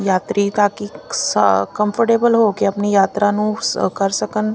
ਯਾਤਰੀ ਕੰਫਰਟੇਬਲ ਹੋ ਕੇ ਆਪਣੀ ਯਾਤਰਾ ਨੂੰ ਕਰ ਸਕਣ --